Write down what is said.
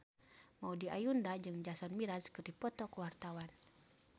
Maudy Ayunda jeung Jason Mraz keur dipoto ku wartawan